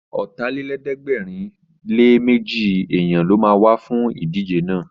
Ọ̀tàlélẹ̀ẹ́dẹ́gbẹ̀rinléméjì èèyàn ló ma wá fún ìdíje náà